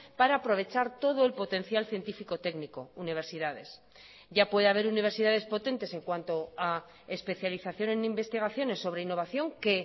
para aprovechar todo el potencial científico técnico universidades ya puede haber universidades potentes en cuanto a especialización en investigaciones sobre innovación que